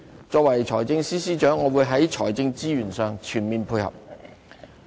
作為財政司司長，我會在財政資源上全面配合。